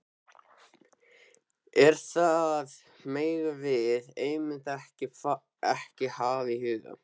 En það megum við einmitt ekki hafa í huga.